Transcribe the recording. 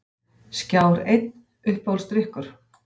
Skjár einn Uppáhaldsdrykkur?